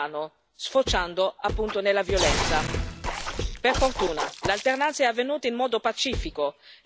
Per fortuna l'alternanza è avvenuta in modo pacifico e il nuovo presidente si è insediato senza particolari problemi.